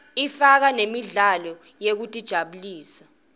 ifaka nemidlalo yekutijabulisa